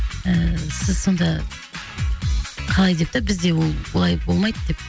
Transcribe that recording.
ыыы сіз сонда қалай деп та бізде ол бұлай болмайды деп